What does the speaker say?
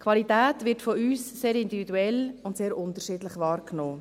Qualität wird von uns sehr individuell und sehr unterschiedlich wahrgenommen.